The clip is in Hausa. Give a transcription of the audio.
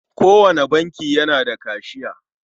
Kowane banki yana da kashiya.